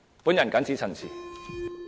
我謹此陳辭。